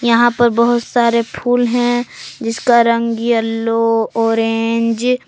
यहां पर बहुत सारे फूल हैं जिसका रंग येलो ऑरेंज --